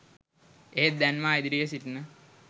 එහෙත් දැන් මා ඉදිරියේ සිටින